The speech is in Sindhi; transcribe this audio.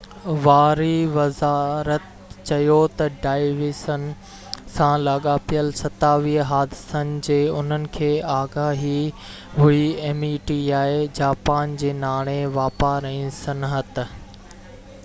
جاپان جي ناڻي، واپار ۽ صنحت meti واري وزارت چيو تہ ڊوائيسن سان لاڳاپيل 27 حادثن جي انهن کي آگاهي هئي